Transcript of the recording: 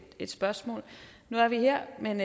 spørgsmål nu er vi her men